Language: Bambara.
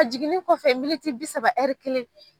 Jiginin kɔfɛ militi bi saba ɛri kelen